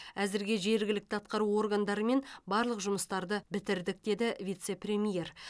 әзірге жергілікті атқару органдарымен барлық жұмыстарды бітірдік деді вице премьер